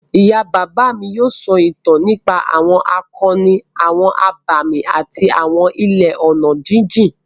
Ìyá àgbà mi yóò sọ ìtàn nípa àwọn akọni, àwọn abàmì àti àwọn ilẹ̀ ọ̀nà jíjìn.